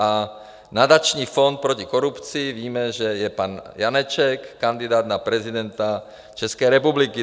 A Nadační fond proti korupci - víme, že je pan Janeček, kandidát na prezidenta České republiky.